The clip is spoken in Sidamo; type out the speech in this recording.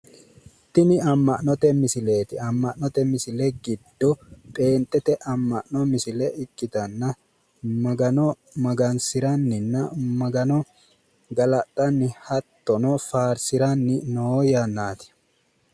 Tini amma'note misileeti tini amma'note misile giddo pheenxete amma'no misile ikkitanna Magano magansiranninna Magano galaxxanni hattono faarsiranni noo yannaati.